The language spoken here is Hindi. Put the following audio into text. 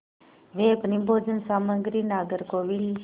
वे अपनी भोजन सामग्री नागरकोविल